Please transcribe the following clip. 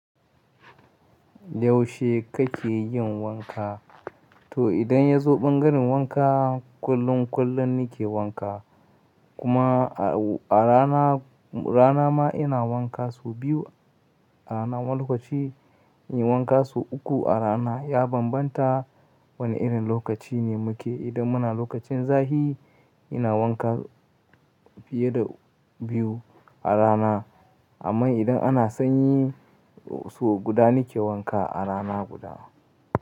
Yaushe kake yin wanka? To idan yazo bangaren wanka, kullum, kullum nake wanka. Kuma a rana, rana ma ina wanka sau biyu a rana ma lokaci, inyi wanka sau uku a rana. Ya bambanta wane irin lokaci ne muke. Idan muna lokacin zafi ina wanka fiye da biyu a rana amma idan ana sanyi sau guda nake wanka a rana guda.